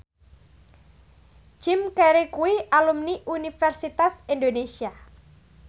Jim Carey kuwi alumni Universitas Indonesia